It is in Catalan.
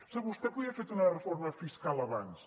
sap vostè podria haver fet una reforma fiscal abans